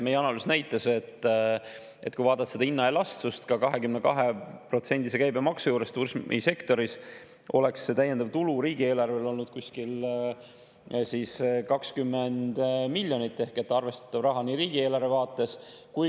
Meie analüüs näitas, et kui vaadata hinnaelastsust ka 22%‑se käibemaksu juures turismisektoris, oleks see täiendav tulu riigieelarvele olnud kuskil 20 miljonit ehk arvestatav raha riigieelarve vaates.